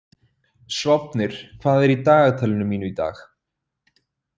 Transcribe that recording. Sváfnir, hvað er í dagatalinu mínu í dag?